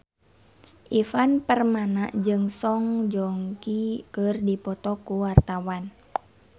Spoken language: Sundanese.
Ivan Permana jeung Song Joong Ki keur dipoto ku wartawan